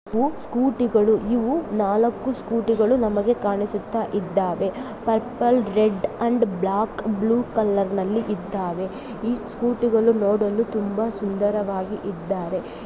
ಇವು ಸ್ಕೂಟಿಗಳು ಇವು ನಾಲಕ್ಕು ಸ್ಕೂಟಿ ಗಳು ನಮಗೆ ಕಾಣಿಸುತ್ತಾ ಇದ್ದಾವೆ. Purple red and black blue colour ನಲ್ಲಿ ಇದ್ದಾವೆ. ಈ ಸ್ಕೂಟಿ ಗಳು ನೋಡಲು ತುಂಬಾ ಸುಂದರವಾಗಿ ಇದ್ದಾವೆ.